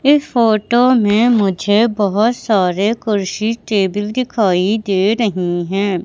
इस फोटो में मुझे बहोत सारे कुर्सी टेबिल दिखाई दे रही है।